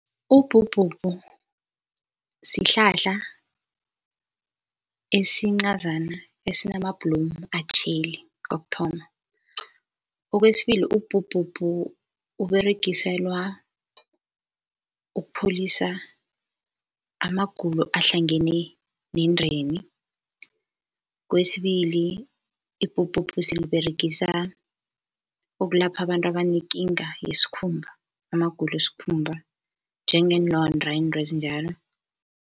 Ubhubhubhu sihlahla esincazana esinamabhlomu atjheli kokuthoma. Okwesibili ubhubhubhu Uberegiselwa ukupholisa amagulo ahlangene nendeni. Kwesibili, ibhubhubhu siliberegisa ukulapha abantu abanekinga yesikhumba, amagulo wesikhumba njengeenlonda into ezinjalo.